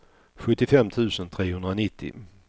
sjuttiofem tusen trehundranittio